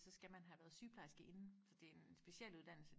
så skal man have været sygeplejerske inden for det er en specialuddannelse